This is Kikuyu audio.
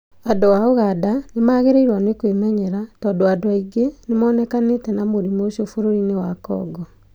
Andũ a ũganda nĩ magĩrĩirwo nĩ kwĩmenyerera tondũ andũ angĩ nĩ monekanĩte na mũrimũ ũcio bũrũri-inĩ wa Congo